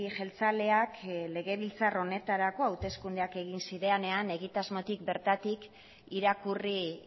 jeltzaleak legebiltzar honetarako hauteskundeak egin zirenean egitasmotik bertatik irakurri